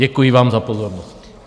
Děkuji vám za pozornost.